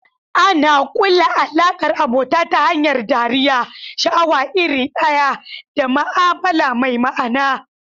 Ana kulla alaƙar abota ta hanyar dariya, sha'awa iri ɗaya, da ma'amala mai ma'ana.